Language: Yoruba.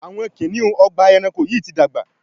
Awọn kiniun Ọgbà ẹranko yi ti dàgbà